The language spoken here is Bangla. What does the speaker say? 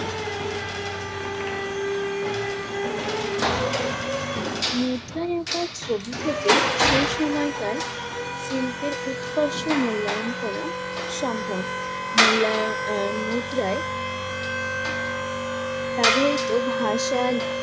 মুদ্রায় আঁকা ছবি থেকেই সেই সময়কার শিল্পের উৎকর্ষ মূল্যায়ন করা সম্ভব। মূল্যায়~ এর মুদ্রায় ব্যবহৃত ভাষা